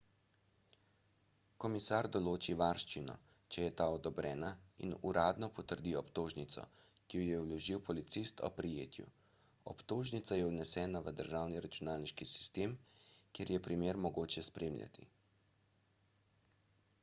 komisar določi varščino če je ta odobrena in uradno potrdi obtožnico ki jo je vložil policist ob prijetju obtožnica je vnesena v državni računalniški sistem kjer je primer mogoče spremljati